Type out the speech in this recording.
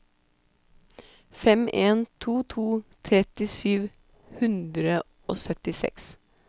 fem en to to tretti sju hundre og syttiseks